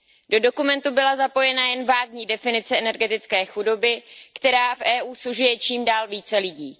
Do dokumentu byla zapojena jen vágní definice energetické chudoby, která v EU sužuje čím dál více lidí.